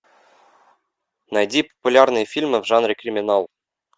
найди популярные фильмы в жанре криминал